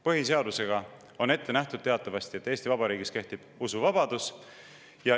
Põhiseadusega on teatavasti ette nähtud, et Eesti Vabariigis kehtib usuvabadus.